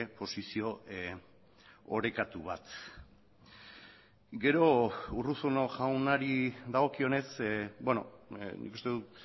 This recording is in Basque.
posizio orekatu bat gero urruzuno jaunari dagokionez nik uste dut